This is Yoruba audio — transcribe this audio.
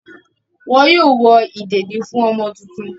Wọn yóò wọ ìdèdí fún ọmọ tuntun.